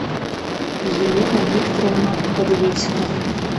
елена викторовна подвесько